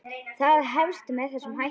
Það hefst með þessum hætti: